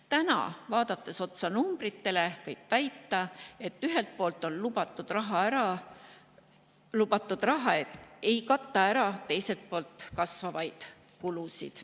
Täna, vaadates otsa numbritele, võib väita, et ühelt poolt lubatud raha ei kata ära teiselt poolt kasvavaid kulusid.